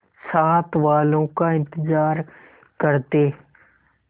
साथ वालों का इंतजार करते